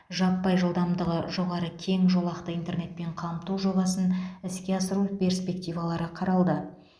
жаппай жылдамдығы жоғары кең жолақты интернетпен қамту жобасын іске асыру перспективалары қаралды